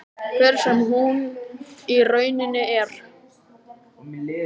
Hver sem hún í rauninni er.